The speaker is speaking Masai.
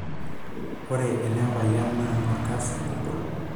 Ore ele payian naa olkasi ogol.